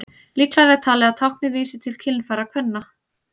Líklegra er talið að táknið vísi til kynfæra kvenna.